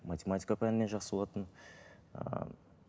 математика пәнінен жақсы болатынмын ыыы